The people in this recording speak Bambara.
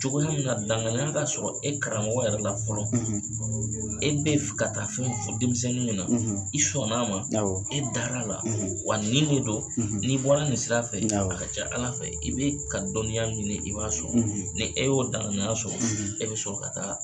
Cogo min na danganiya ka sɔrɔ e karamɔgɔyɛrɛ la fɔlɔ e be fɛ ka taa fɛn fɔ denmisɛnnin kunna na i sɔnna ma e dara la wa nin de don n'i bɔra nin sira fɛ a ka ca ala fɛ i bɛ ka dɔnniya minɛ ɲini i b'a sɔrɔ ni e y'o danganiya nana e bɛ sɔrɔ ka taa